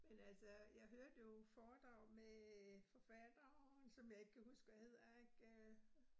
Men altså, jeg hørte jo foredrag med forfatteren som jeg ikke kan huske, hvad hedder ik øh